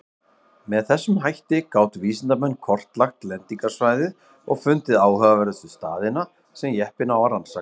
Með þessum hætti gátu vísindamenn kortlagt lendingarsvæðið og fundið áhugaverðustu staðina sem jeppinn á rannsaka.